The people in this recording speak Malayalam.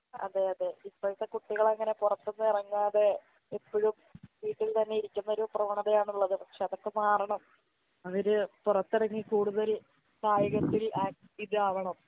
അതെയതെ ഇപ്പോഴത്തെ കുട്ടികളങ്ങനെ പൊറത്തൊന്നും എറങ്ങാതെ എപ്പഴും വീട്ടിൽ തന്നെയിരിക്കുന്നൊരു പ്രവണതയാണ്ള്ളത് പക്ഷെ അതൊക്കെ മാറണം അവര് പൊറത്തെറങ്ങി കൂടുതൽ കായികത്തിൽ ആക് ഇതാവണം